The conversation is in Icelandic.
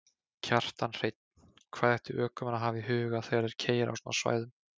Kjartan Hreinn: Hvað ættu ökumenn að hafa í huga þegar þeir keyra á svona svæðum?